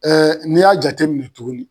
Ɛɛ n'i y'a jate minɛ tuguni